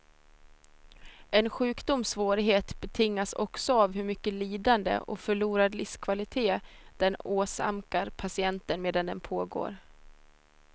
En sjukdoms svårighet betingas också av hur mycket lidande och förlorad livskvalitet den åsamkar patienten medan den pågår.